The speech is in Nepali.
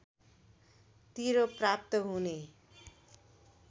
तिरो प्राप्त हुने